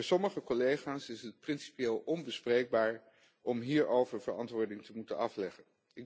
Voor sommige collega's is het principieel onbespreekbaar om hierover verantwoording te moeten afleggen.